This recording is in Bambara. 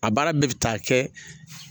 A baara bɛɛ bɛ taa kɛ